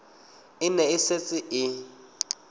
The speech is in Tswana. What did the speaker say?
e ne e setse e